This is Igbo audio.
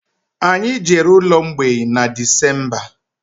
Anyị jere ụlọ mgbei na Decemba